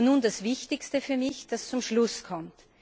Und nun das Wichtigste für mich, das zum Schluss kommt.